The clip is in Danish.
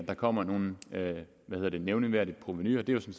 der kommer nogen hvad hedder det nævneværdige provenuændringer det